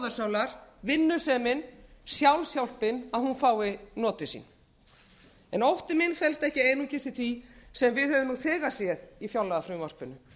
einkenni íslenskrar þjóðarsálar vinnusemin sjálfshjálpin að hún fái notið sín ótti minn felst ekki einungis í því sem við höfum nú þegar séð í fjárlagafrumvarpinu